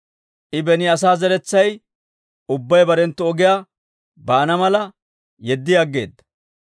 I beni asaa zeretsay ubbay barenttu ogiyaa baana mala yeddi aggeedda.